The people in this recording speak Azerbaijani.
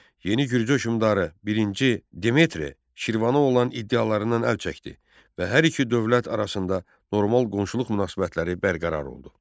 Yeni Gürcü hökmdarı birinci Demetri Şirvana olan iddialarından əl çəkdi və hər iki dövlət arasında normal qonşuluq münasibətləri bərqərar oldu.